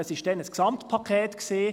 Es lag damals ein Gesamtpaket vor;